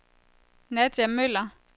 Nadja Møller